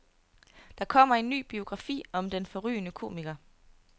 Der kommer en ny biografi om den forrygende komiker.